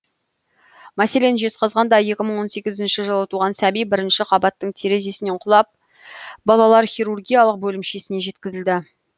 мәселен жезқазғанда екі мың он сегізінші жылы туған сәби бірінші қабаттың терезесінен құлап балалар хирургиялық бөлімшесіне жеткізілді